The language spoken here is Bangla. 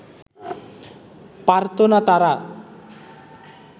পারত না তারা